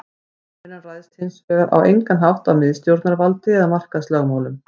Samvinnan ræðst hins vegar á engan hátt af miðstjórnarvaldi eða markaðslögmálum.